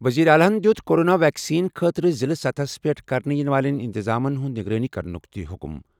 وزیر اعلیٰ یَن دِیُت کورونا ویکسیٖن خٲطرٕ ضِلعہٕ سطحس پٮ۪ٹھ کرنہٕ یِنہٕ والٮ۪ن اِنتِظامَن ہِنٛز نگرٲنی کرنُک تہِ حُکُم۔